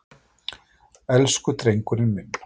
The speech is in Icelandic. Elsku drengurinn minn!